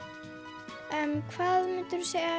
hvað myndirðu segja